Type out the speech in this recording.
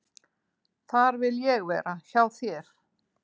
"""Þar vil ég vera, hjá þér."""